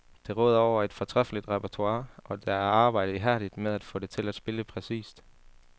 Det råder over et fortræffeligt repertoire, og der er arbejdet ihærdigt med at få det til at spille præcist.